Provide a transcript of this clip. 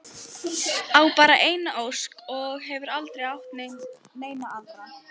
Á bara eina ósk og hefur aldrei átt neina aðra.